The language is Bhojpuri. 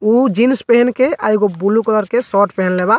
उ जीन्स पेहन के आ एगो बुलु कलर के शोट पहेनले बा।